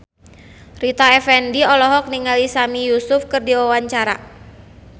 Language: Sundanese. Rita Effendy olohok ningali Sami Yusuf keur diwawancara